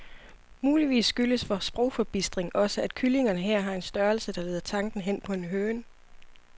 Muligvis skyldes vor sprogforbistring også, at kyllingerne her har en størrelse, der leder tanken hen på en høne.